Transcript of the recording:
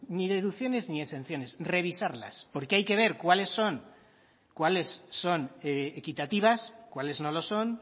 ni deducciones ni exenciones revisarlas porque hay que ver cuáles son cuáles son equitativas cuáles no lo son